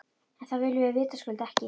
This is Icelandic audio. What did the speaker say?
En það viljum við vitaskuld ekki.